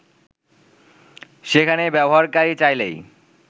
সেখানে ব্যবহারকারী চাইলেই